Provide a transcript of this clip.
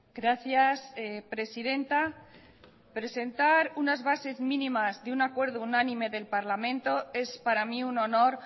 gracias presidenta presentar unas bases mínimas de un acuerdo unánime del parlamento es para mí un honor